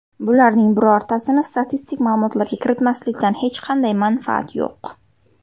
Bularning birortasini statistik ma’lumotlarga kiritmaslikdan hech qanday manfaat yo‘q.